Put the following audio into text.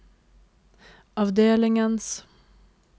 avdelingens